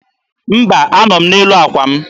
Mba, anọ m n'elu àkwà m.